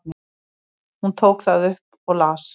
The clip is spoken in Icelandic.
Hún tók það upp og las.